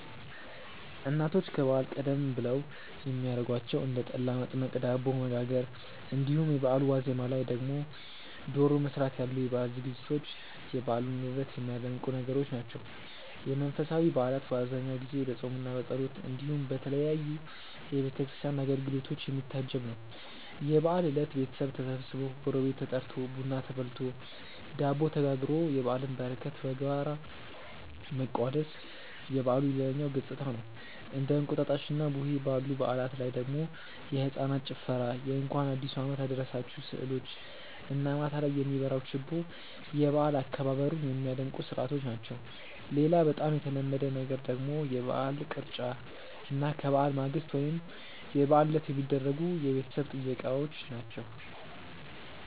እናቶች ከበዓል ቀደም ብለው የሚያረጓቸው እንደ ጠላ መጥመቅ፣ ዳቦ መጋገር እንዲሁም የበአሉ ዋዜማ ላይ ደግሞ ዶሮ መስራት ያሉ የበዓል ዝግጅቶች የበዓሉን ውበት የሚያደምቁ ነገሮች ናቸው። የመንፈሳዊ በዓላት በአብዛኛው ጊዜ በፆምምና በጸሎት እንዲሁም በተለያዩ የቤተ ክርስቲያን አገልግሎቶች የሚታጀብ ነው። የበዓል እለት ቤተሰብ ተሰብስቦ፣ ጎረቤት ተጠርቶ፣ ቡና ተፈልቶ፣ ዳቦ ተጋግሮ የበዓልን በረከት በጋራ መቋደስ የበዓሉ ሌላኛው ገፅታ ነው። እንደ እንቁጣጣሽና ቡሄ ባሉ በዓላት ላይ ደግሞ የህፃናት ጭፈራ የእንኳን አዲሱ አመት አደረሳችሁ ስዕሎች እና ማታ ላይ የሚበራው ችቦ የበዓል አከባበሩን ሚያደምቁ ስርዓቶች ናቸው። ሌላ በጣም የተለመደ ነገር ደግሞ የበዓል ቅርጫ እና ከበዓል ማግስት ወይም የበዓል ዕለት የሚደረጉ የቤተሰብ ጥየቃዎች ናቸው።